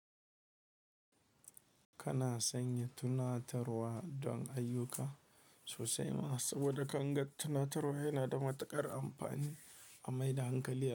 Kana sanya tunatarwa don ayyuka sosai ma saboda kangon tunatarwa yana da matuƙar amfani a maida hankali.